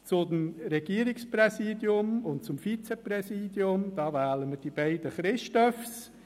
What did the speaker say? Zum Regierungspräsidium und zum Vizeregierungspräsidium: Hier wählen wir die beiden «Christophs».